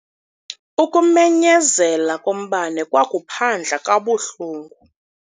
Ukumenyezela kombane kwakuphandla kabuhlungu.